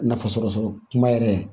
Nafasɔrɔ kuma yɛrɛ